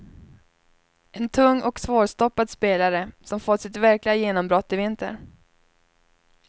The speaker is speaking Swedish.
En tung och svårstoppad spelare som fått sitt verkliga genombrott i vinter.